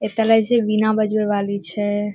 एता लागे छै वीणा बजवे वाली छै।